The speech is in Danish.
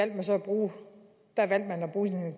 man så at bruge